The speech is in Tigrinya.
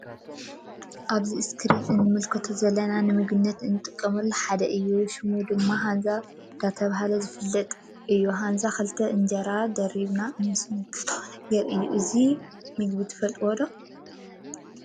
አብዚ እስክሪን እንምልከቶ ዘለና ንምግብነት እንጥቀመሉ ሓደ እዩ::ሽሙ ድማ ሃንዛ ዳተብሃለ ዝፍለጥ እዩ ሃንዛ ክልተ እንጀራ ደሪብና ንስንክቶ ነገር እዩ::እዚ ምግቢ ትፈልጥው ዶ?